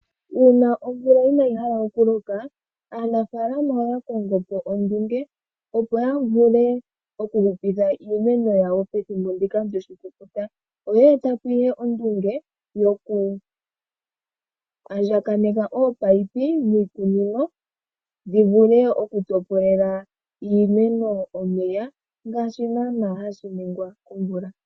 Uuna omvula inayi hala okuloka, aanafalama oya kongo po ondunge, opo ya vule okuhupitha iimeno yawo pethimbo ndika lyoshikukuta, oye eta po ihe ondunge yoku andjakaneka opaipi miikunino dhi vule okutopolela iimeno omeya ngaashi naana hashi ningwa komvula.